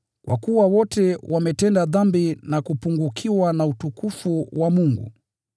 kwa kuwa wote wametenda dhambi na kupungukiwa na utukufu wa Mungu,